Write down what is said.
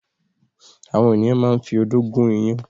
Àwọn ènìyàn máa ń fi odó gún iyán.